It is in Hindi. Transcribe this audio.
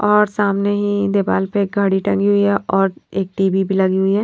और सामने ही देपाल पे एक घड़ी टंगी हुई है और एक टी_ वी_ भी लगी हुई है।